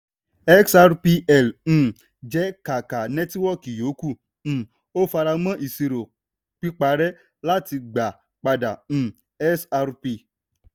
xrpl um jẹ́ kákà nẹ́tíwọ́kì yòókù; um ó fara mọ́ ìṣirò piparẹ́ láti gba padà um xrp.